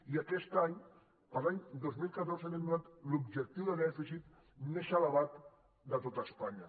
i aquest any per a l’any dos mil catorze li han donat l’objectiu de dèficit més elevat de tot espanya